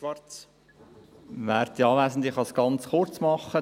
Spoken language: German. Ich kann es ganz kurz machen.